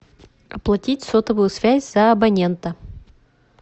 оплатить сотовую связь за абонента